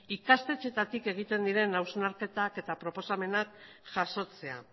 ikastetxeetatik egiten diren hausnarketak eta proposamenak jasotzea